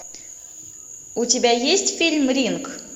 у тебя есть фильм ринг